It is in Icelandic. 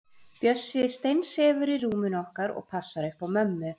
Bjössi steinsefur í rúminu okkar og passar upp á mömmu.